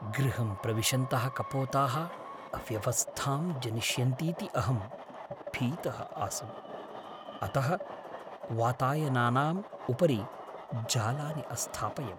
गृहं प्रविशन्तः कपोताः अव्यवस्थां जनयिष्यन्तीति अहं भीतः आसम्, अतः वातायनानाम् उपरि जालानि अस्थापयम्।